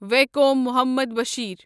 Vaikom Muhammad Bashir